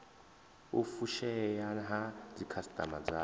u fushea ha dzikhasitama dzavho